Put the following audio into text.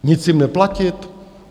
Nic jim neplatit?